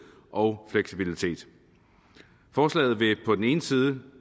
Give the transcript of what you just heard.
og fleksibilitet forslaget vil på den ene side